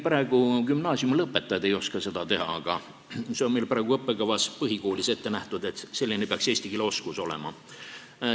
Praegu ei oska gümnaasiumilõpetajadki seda teha, aga meil on põhikooli õppekavas ette nähtud, et selline peaks eesti keele oskus olema.